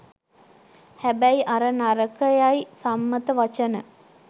හැබැයි අර නරකයයි සම්මත වචන